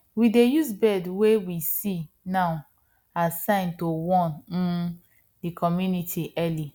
we dey use bird wey we see now as sign to warn um dey community early